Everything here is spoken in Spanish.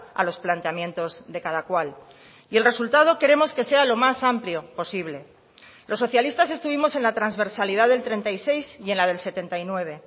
a los planteamientos de cada cual y el resultado queremos que sea lo más amplio posible los socialistas estuvimos en la transversalidad del treinta y seis y en la del setenta y nueve